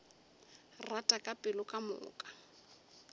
rata ka pelo ka moka